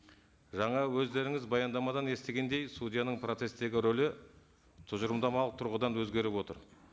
жаңа өздеріңіз баяндамадан естігендей судьяның процесстегі рөлі тұжырымдамалық тұрғыдан өзгеріп отыр